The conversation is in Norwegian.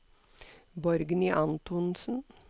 Borgny Antonsen